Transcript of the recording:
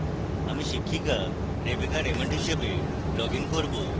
আমি শিক্ষকা rebecca raymond হিসাবে লগইন করব